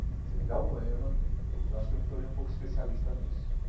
Você me dá um poema, eu acho que eu me tornei um pouco especialista nisso.